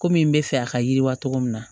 Komi n bɛ fɛ a ka yiriwa cogo min na